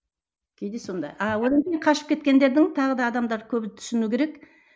а онан кейін қашып кеткендердің тағы да адамдар көбі түсіну керек